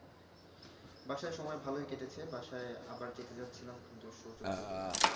বাসায় সময় ভালই কেটেছে বাসায় আবার যেতে যাচ্ছিলাম কিন্তু সুযোগ হইল না